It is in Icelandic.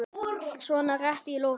svona rétt í lokin.